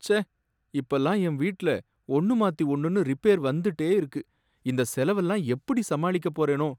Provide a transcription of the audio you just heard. ச்சே! இப்பலாம் என் வீட்டுல ஒன்னு மாத்தி ஒன்னுன்னு ரிப்பேர் வந்ததுட்டே இருக்கு, இந்த செலவெல்லாம் எப்படி சமாளிக்கப் போறேனோ